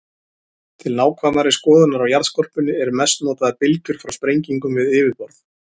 Til nákvæmari skoðunar á jarðskorpunni eru mest notaðar bylgjur frá sprengingum við yfirborð.